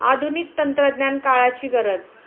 आधुनिक तंत्रज्ञान काळाची गरज